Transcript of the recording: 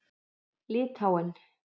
Litháen